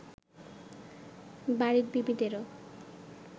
বাড়ীর বিবিদেরও